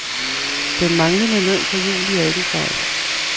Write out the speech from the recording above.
Den manglende løn for juli er ikke en fejl.